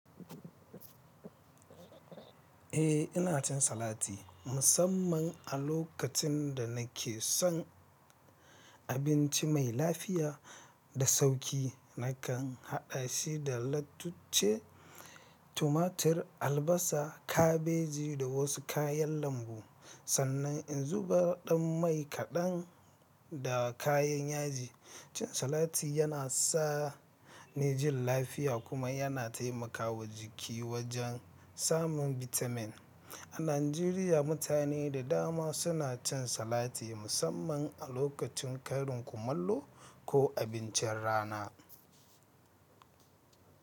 Eh, ina cin salati musamman a lokacin da nake son. Abinci mai lafiya da sauƙi. Nakan haɗa shi da lattuce, tumatir, albasa, kabeji da wasu kayan lambu. Sannan in zuba ɗan mai kaɗan da kayan yaji. Cin salati yana sa ni jin lafiya kuma yana taimakawa jiki wajen samun bitamin. A Najeriya, mutane da dama suna cin salati musamman a lokacin karin kumallo ko abincin rana.